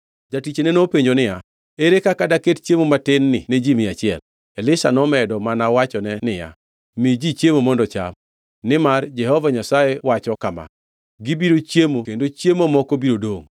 Jatichne nopenjo niya, “Ere kaka daket chiemo matin-gi ne ji mia achiel?” Elisha nomedo mana wachone niya, “Mi ji chiemo mondo ocham. Nimar Jehova Nyasaye wacho kama: ‘Gibiro chiemo kendo chiemo moko biro dongʼ.’ ”